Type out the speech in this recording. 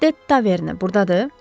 Philip De Taverney burdadır?